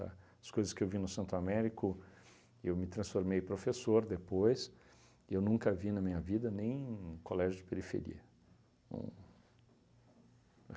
Tá? As coisas que eu vi no Santo Américo, eu me transformei professor depois, e eu nunca vi na minha vida nem colégio de periferia. Uhn